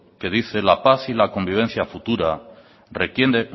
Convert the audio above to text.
que dice la paz y la convivencia futura